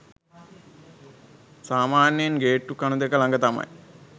සාමාන්‍යයෙන් ගේට්ටු කණු දෙක ලඟ තමයි